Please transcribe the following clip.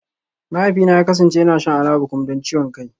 Mahaifina ya kasance yana shan Alabukun don ciwon kai